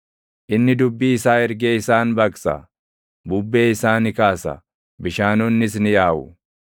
Inni dubbii isaa ergee isaan baqsa; bubbee isaa ni kaasa; bishaanonnis ni yaaʼu.